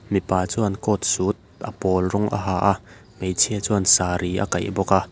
mipa chuan coat suit a pawl rawng a ha a hmeichhia chuan saree a kaih bawk a.